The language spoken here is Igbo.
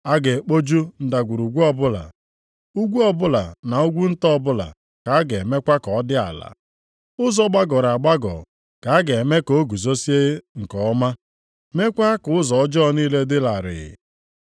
A ga-ekpoju ndagwurugwu ọbụla, ugwu ọbụla na ugwu nta ọbụla ka a ga-emekwa ka ọ dị ala. Ụzọ gbagọrọ agbagọ ka a ga-eme ka o guzozie nke ọma, meekwa ka ụzọ ọjọọ niile dị larịị.